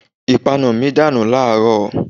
Ìpanu mi dànù láàrọ̀